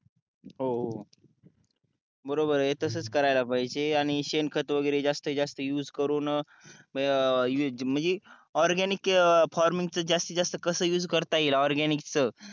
हो तसंच करा बरोबर आहे तसंच करायला पाहिजे आणि शेण खात वगैरे जास्तीत जास्त युज करून म्हणजे ऑरगॅनिक फार्मिंग जास्तीत जास्त युज कसा करता येईल ऑरगॅनिकच